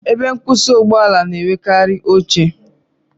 Ebe nkwusi Ụgbọ ala na-enwekarị oche